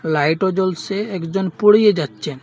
লাইটও জ্বলসে একজন পড়িয়ে যাচ্ছেন।